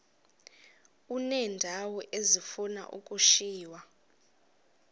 uneendawo ezifuna ukushiywa